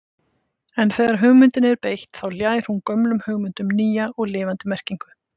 En þegar hugmyndinni er beitt þá ljær hún gömlum hugmyndum nýja og lifandi merkingu.